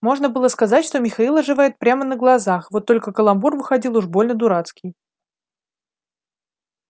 можно было сказать что михаил оживает прямо на глазах вот только каламбур выходил уж больно дурацкий